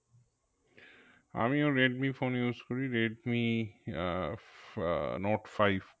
আমিও Redmi phone use করি, Redmi uh uh note five